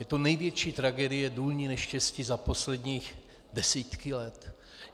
Je to největší tragédie, důlní neštěstí, za poslední desítky let.